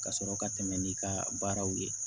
Ka sɔrɔ ka tɛmɛ n'i ka baaraw ye